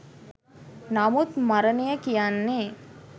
නමුත් මරණය කියන්නෙ